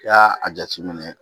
I y'a a jateminɛ